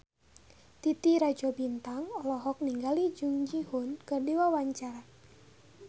Titi Rajo Bintang olohok ningali Jung Ji Hoon keur diwawancara